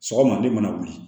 Sɔgɔma de mana wuli